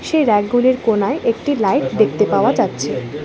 সেই রেকগুলির কোণায় একটি লাইট দেখতে পাওয়া যাচ্ছে।